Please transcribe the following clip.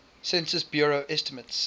census bureau estimates